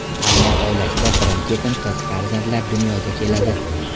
Ammo oilasida birin-ketin qiz farzandlar dunyoga keladi.